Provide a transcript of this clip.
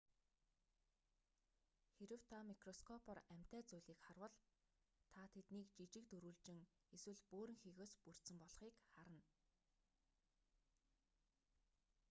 харав та микроскопоор амьтай зүйлийг харвал та тэдийг жижиг дөрвөлжин эсвэл бөөрөнхийгөөс бүрдсэн болхыг харна